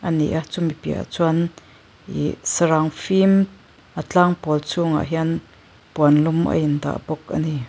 ni a chumi piah ah chuan ihh sarang fim a tlang pawl chhungah hian puan lum a indah bawk a ni.